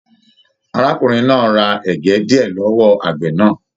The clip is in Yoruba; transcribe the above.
Arákùnrin náà rà ẹgẹ diẹ lọwọ àgbẹ náà.